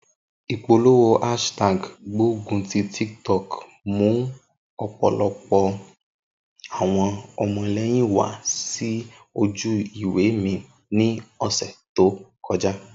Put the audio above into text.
Ipolowo hashtag gbogun ti TikTok mu ọpọlọpọ awọn ọmọlẹyin wa si oju-iwe mi ni ọsẹ to kọja.